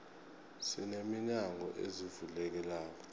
sine minyango ezivulekelako